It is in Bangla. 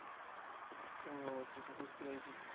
ওহ শেষে বুঝতে পেরেছি।